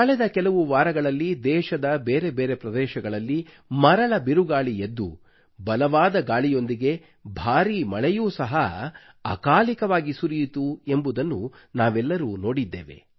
ಕಳೆದ ಕೆಲವು ವಾರಗಳಲ್ಲಿ ದೇಶದ ಬೇರೆ ಬೇರೆ ಪ್ರದೇಶಗಳಲ್ಲಿ ಮರಳ ಬಿರುಗಾಳಿ ಎದ್ದು ಬಲವಾದ ಗಾಳಿಯೊಂದಿಗೆ ಭಾರೀ ಮಳೆಯೂ ಸಹ ಅಕಾಲಿಕವಾಗಿ ಸುರಿಯಿತು ಎಂಬುದನ್ನು ನಾವೆಲ್ಲರೂ ನೋಡಿದ್ದೇವೆ